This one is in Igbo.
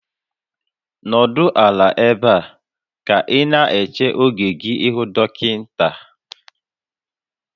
Nọdụ ala ebe a ka ị na-eche oge gị ịhụ dọkịta